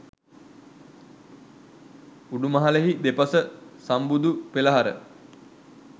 උඩුමහලෙහි දෙපස සම්බුදු පෙළහර